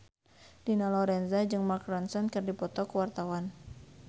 Dina Lorenza jeung Mark Ronson keur dipoto ku wartawan